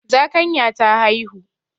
Zakanya ta haihu.